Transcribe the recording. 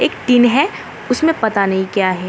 एक टिन है उसमें पता नहीं क्या है।